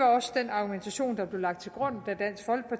også den argumentation der blev lagt